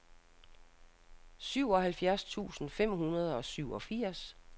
syvoghalvfjerds tusind fem hundrede og syvogfirs